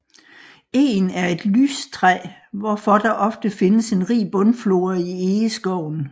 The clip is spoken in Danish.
Egen er et lystræ hvorfor der ofte findes en rig bundflora i egeskoven